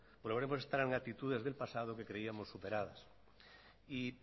en actitudes que creíamos superadas y